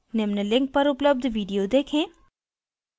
निम्न link पर उपलब्ध video देखें